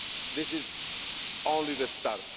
far. This is only the start.